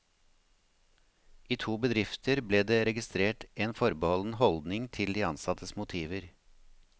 I to bedrifter ble det registrert en forbeholden holdning til de ansattes motiver.